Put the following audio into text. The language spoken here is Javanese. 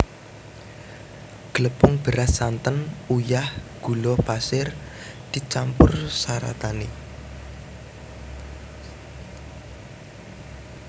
Glepung beras santen uyah gula pasir dicampur saratané